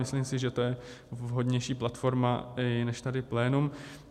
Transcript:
Myslím si, že to je vhodnější platforma i než tady plénum.